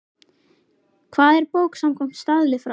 Hvað er bók samkvæmt staðli frá